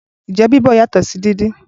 Ǹjẹ́ Bíbọ̀ yàtọ̀ sí dídín?